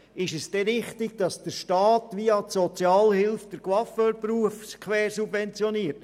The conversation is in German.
Ist es denn richtig, dass der Staat und die Sozialhilfe den Coiffeurberuf quersubventionieren?